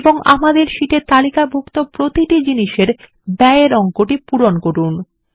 এবং আমাদের শীট এ তালিকাভুক্ত প্রতিটি জিনিসের ব্যয় এর অঙ্কটি পূরণ করুন